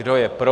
Kdo je pro?